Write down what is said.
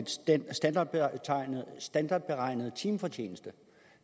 standardberegnet timefortjeneste